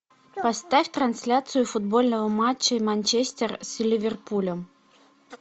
поставь трансляцию футбольного матча манчестер с ливерпулем